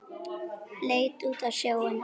Leit út á sjóinn.